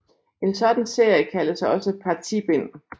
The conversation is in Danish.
En sådan serie kaldes også partibind